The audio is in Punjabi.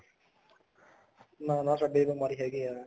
ਨਾ ਨਾ ਸਾਡੇ ਤਾਂ ਬਿਮਾਰੀ ਹੈਗੀ ਹੈ